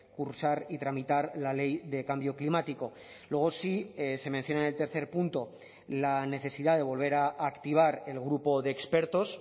cursar y tramitar la ley de cambio climático luego sí se menciona en el tercer punto la necesidad de volver a activar el grupo de expertos